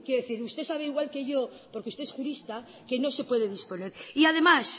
decir usted sabe igual que yo porque es usted es jurista que no se puede disponer y además